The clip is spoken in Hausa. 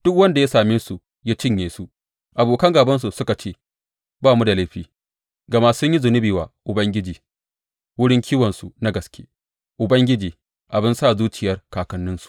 Duk wanda ya same su ya cinye su; abokan gābansu suka ce, Ba mu da laifi, gama sun yi zunubi wa Ubangiji, wurin kiwonsu na gaske, Ubangiji, abin sa zuciyar kakanninsu.’